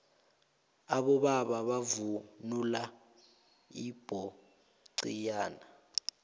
abobaba bavunula ipoxiyane